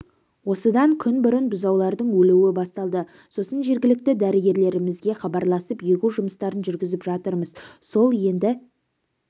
осыдан күн бұрын бұзаулардың өлуі басталды сосын жергілікті дәрігерлерімізге хабарласып егу жұмыстарын жүргізіп жатырмыз сол енді